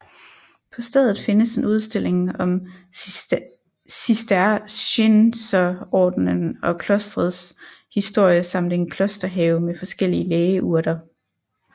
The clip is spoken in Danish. På stedet findes en udstilling om Cistercienserordenen og klostrets historie samt en klosterhave med forskellige lægeurter